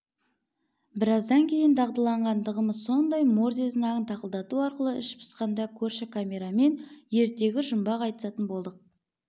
біраздан кейін дағдыланғандығымыз сондай морзе знагын тақылдату арқылы іш пысқанда көрші камерамен ертегі жұмбақ айтысатын болдық